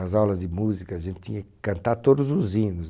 Nas aulas de música, a gente tinha que cantar todos os hinos.